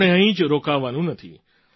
આપણે અહીં જ રોકાવાનું નથી